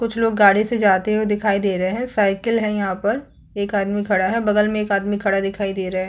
कुछ लोग गाडी से जाते हुए दिखाई दे रहे है साइकिल है यहाँ पर एक आदमी खड़ा है बगल में एक आदमी खड़ा दिखाई दे रहा है।